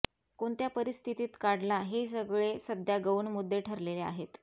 कोणत्या परिस्थितीत काढला हे सगळे सध्या गौण मुद्दे ठरलेले आहेत